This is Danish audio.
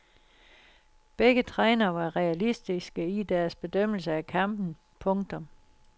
Begge trænere var realistiske i deres bedømmelse af kampen. punktum